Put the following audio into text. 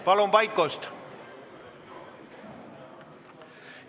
Palun vaikust!